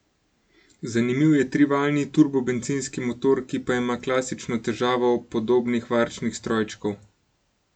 Zanimiv je trivaljni turbobencinski motor, ki pa ima klasično težavo podobnih varčnih strojčkov.